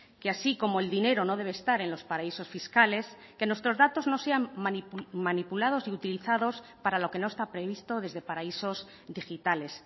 que así como el dinero no debe estar en los paraísos fiscales que nuestros datos no sean manipulados y utilizados para lo que no está previsto desde paraísos digitales